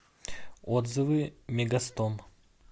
отзывы мегастом